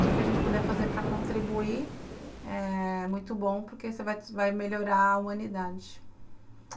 Tudo o que a gente puder fazer para contribuir é... muito bom, porque isso vai melhorar a humanidade.